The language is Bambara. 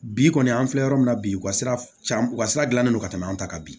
Bi kɔni an filɛ yɔrɔ min na bi u ka sira can u ka sira gilannen do an ta kan bi